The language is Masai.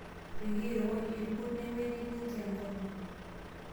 Peyie erowuaju irkurt nemiti ninche enkolong'.